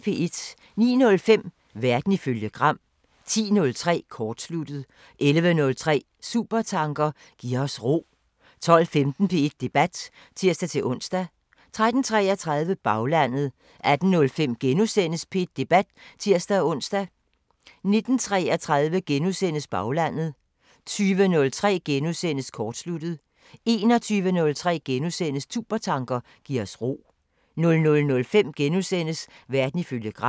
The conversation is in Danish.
09:05: Verden ifølge Gram 10:03: Kortsluttet 11:03: Supertanker: Giv os ro 12:15: P1 Debat (tir-ons) 13:33: Baglandet 18:05: P1 Debat *(tir-ons) 19:33: Baglandet * 20:03: Kortsluttet * 21:03: Supertanker: Giv os ro * 00:05: Verden ifølge Gram *